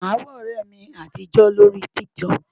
Màá wá ọ̀rẹ́ mi àtijó lórí TikTok.